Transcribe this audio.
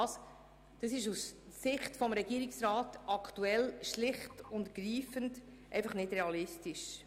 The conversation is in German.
Dies ist aus Sicht des Regierungsrats zurzeit schlicht und einfach nicht realistisch.